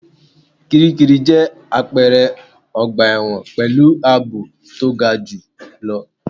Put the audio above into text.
Kíríkirì jẹ́ àpẹrẹ ọgbà ẹ̀wọ̀n pẹ̀lú àbò to ga jù lọ.